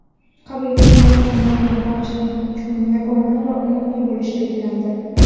qabul qilinayotgan norma barcha uchun yagona va umumiy bo‘lishi belgilandi.